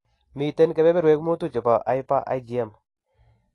Miten kebeberwek mutu chebo hyper IgM